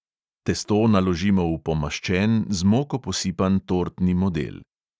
Testo naložimo v pomaščen, z moko posipan tortni model.